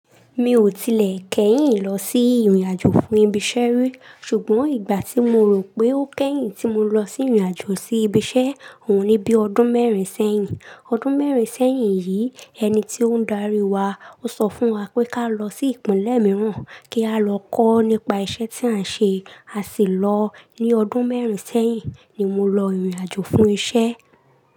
Mi ò tilẹ̀ kẹ́yìn lọ sí ìrìnàjò fún ibi iṣẹ́ rí, ṣùgbọ́n ìgbà tí mo rò pé ó kẹ́yìn tí mo lọ sí ìrìnàjò sí ibi iṣẹ́ òun ni bí ọdún mẹ́rin sẹ́yìn. Ọdún mẹ́rin sẹ́yìn yìí, ẹni tí ó ń darí wa, ó sọ fún wa pé ká lọ sí ìpínlẹ̀ mìíràn kí a lọ kọ́ nípa iṣẹ́ tí à ń ṣe. A sì lọ. Ní ọdún mẹ́rin sẹ́yìn ni mo lọ ìrìnàjò fún iṣẹ́.